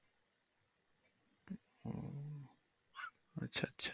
আচ্ছা আচ্ছা।